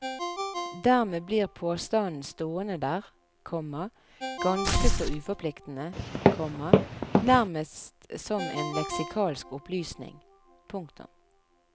Dermed blir påstanden stående der, komma ganske så uforpliktende, komma nærmest som en leksikalsk opplysning. punktum